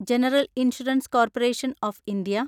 general insurance corporation of India